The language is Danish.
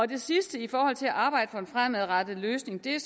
det sidste i forhold til at arbejde for en fremadrettet løsning er